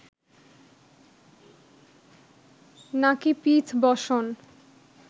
নাকি পীথ বসন